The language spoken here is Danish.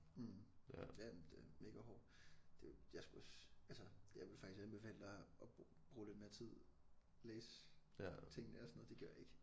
Mh ja men den er mega hård det er jo jeg er sgu også altså jeg vil faktisk anbefale dig at bruge lidt mere tid læse tingene og sådan noget det gjorde jeg ikke